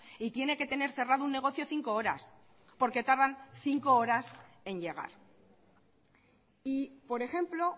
y tiene que tener cerrado un negocio cinco horas porque tardan cinco horas en llegar y por ejemplo